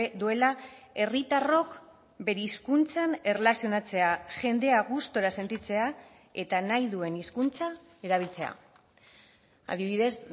duela herritarrok bere hizkuntzan erlazionatzea jendea gustura sentitzea eta nahi duen hizkuntza erabiltzea adibidez